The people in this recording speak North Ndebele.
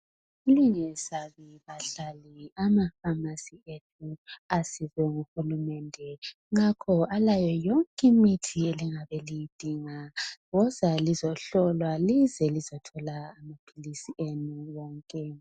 Lingesabi bahlali amafamasi enu avulwe nguhulumende ngakho alayo yonke imithi elingabe liyidinga woza lizohlolwa lize lizothola aamaphilisi enu onke